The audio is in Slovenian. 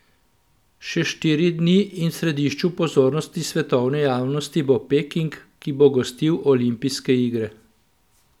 Še štiri dni in v središču pozornost svetovne javnosti bo Peking, ki bo gostil olimpijske igre.